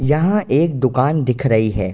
यहाँ एक दुकान दिख रही है।